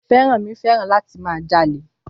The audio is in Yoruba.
Fẹ́rànmi fẹ́ràn láti máa jalè.